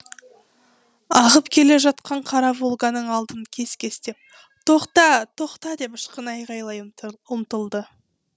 ағып келе жатқан қара волганың алдын кес кестеп тоқта тоқта деп ышқына айғайлай ұмтылды